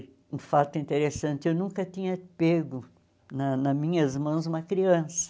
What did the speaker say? Um fato interessante, eu nunca tinha pego na na minhas mãos uma criança.